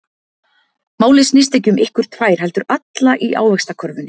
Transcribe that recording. Málið snýst ekki um ykkur tvær, heldur alla í Ávaxtakörfunni.